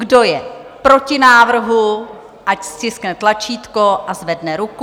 Kdo je proti návrhu, ať stiskne tlačítko a zvedne ruku.